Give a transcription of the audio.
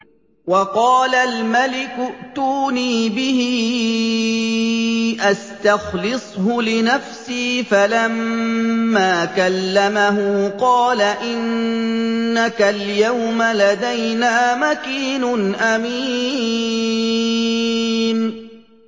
وَقَالَ الْمَلِكُ ائْتُونِي بِهِ أَسْتَخْلِصْهُ لِنَفْسِي ۖ فَلَمَّا كَلَّمَهُ قَالَ إِنَّكَ الْيَوْمَ لَدَيْنَا مَكِينٌ أَمِينٌ